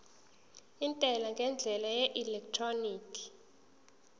intela ngendlela yeelektroniki